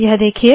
यह देखिए